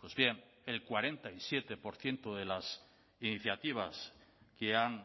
pues bien el cuarenta y siete por ciento de las iniciativas que han